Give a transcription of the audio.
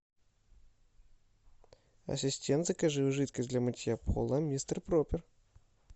ассистент закажи жидкость для мытья пола мистер проппер